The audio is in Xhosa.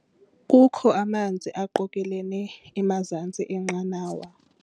Kukho amanzi aqokelelene emazantsi enqanawa.